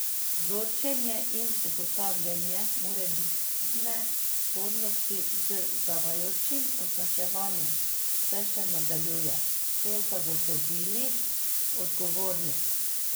Vzorčenje in ugotavljanje morebitne spornosti z zavajajočim označevanjem se še nadaljuje, so zagotovili odgovorni.